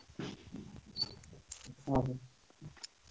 ଓହୋ।